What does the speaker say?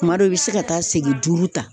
Kuma dɔw e be se ka taa segin duuru ta